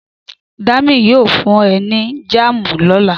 Dami yóò fún ẹ ní jáàmù lóla